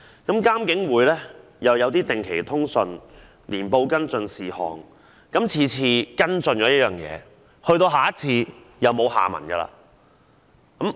監警會亦定期發出通訊和年報跟進事項，但每次跟進的個案往往沒有下文。